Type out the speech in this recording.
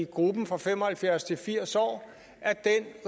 gruppen fra fem og halvfjerds år til firs år